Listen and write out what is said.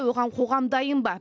оған қоғам дайын ба